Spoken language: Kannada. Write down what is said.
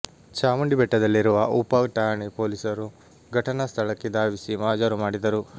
ಚಾಮುಂಡಿ ಬೆಟ್ಟದಲ್ಲಿರುವ ಉಪ ಠಾಣೆ ಪೊಲೀಸರು ಘಟನಾ ಸ್ಥಳಕ್ಕೆ ಧಾವಿಸಿ ಮಹಜರು ಮಾಡಿದರು